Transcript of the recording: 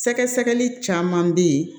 Sɛgɛsɛgɛli caman bɛ yen